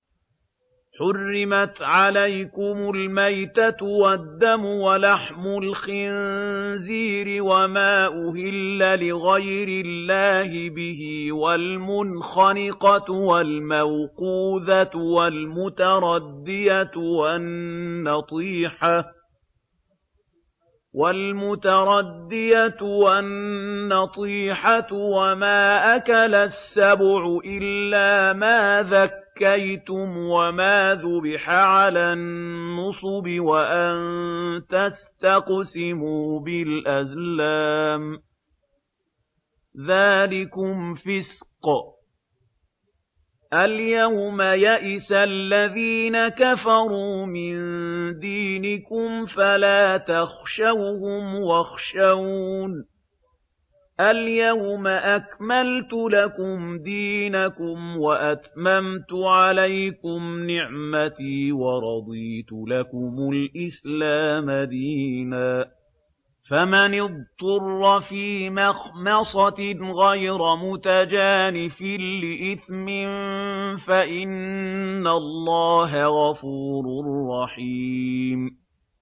حُرِّمَتْ عَلَيْكُمُ الْمَيْتَةُ وَالدَّمُ وَلَحْمُ الْخِنزِيرِ وَمَا أُهِلَّ لِغَيْرِ اللَّهِ بِهِ وَالْمُنْخَنِقَةُ وَالْمَوْقُوذَةُ وَالْمُتَرَدِّيَةُ وَالنَّطِيحَةُ وَمَا أَكَلَ السَّبُعُ إِلَّا مَا ذَكَّيْتُمْ وَمَا ذُبِحَ عَلَى النُّصُبِ وَأَن تَسْتَقْسِمُوا بِالْأَزْلَامِ ۚ ذَٰلِكُمْ فِسْقٌ ۗ الْيَوْمَ يَئِسَ الَّذِينَ كَفَرُوا مِن دِينِكُمْ فَلَا تَخْشَوْهُمْ وَاخْشَوْنِ ۚ الْيَوْمَ أَكْمَلْتُ لَكُمْ دِينَكُمْ وَأَتْمَمْتُ عَلَيْكُمْ نِعْمَتِي وَرَضِيتُ لَكُمُ الْإِسْلَامَ دِينًا ۚ فَمَنِ اضْطُرَّ فِي مَخْمَصَةٍ غَيْرَ مُتَجَانِفٍ لِّإِثْمٍ ۙ فَإِنَّ اللَّهَ غَفُورٌ رَّحِيمٌ